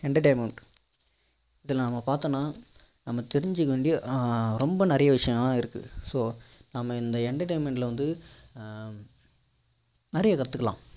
entertainment இதுல நம்ம பார்த்தோம்னா நம்ம தெரிஞ்சிக்க வந்து ரொம்ப நிறைய விஷயங்கள்லாம் இருக்கு so நம்ம இந்த entertainment ல ஆஹ் வந்து நிறைய கத்துக்கலாம்